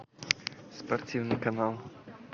спортивный канал